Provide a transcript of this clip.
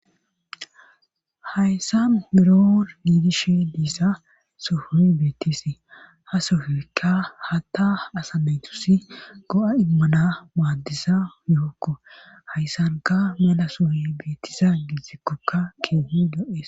Hayssan beror diidishi diissa sofui beettisi ha sofekka hatta asameytus go7a immana maaddisa yookko hayssanka mala suhi beettisa gizikkokka keehi do7es